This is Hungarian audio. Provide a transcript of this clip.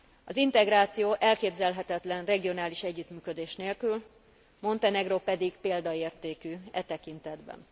Az integráció elképzelhetetlen regionális együttműködés nélkül, Montenegró pedig példaértékű e tekintetben.